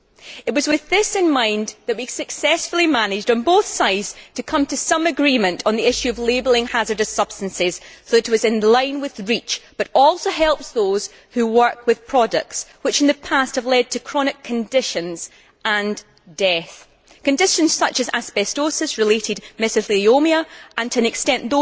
It was with this in mind that we successfully managed on both sides to come to some agreement on the issue of labelling hazardous substances, so that the report was in line with REACH but also helps those who work with products which, in the past, have led to chronic conditions and death conditions such as asbestos related mesotheliomia and, to an extent,